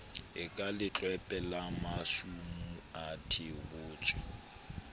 e ka letlwepe la masumuathebotsho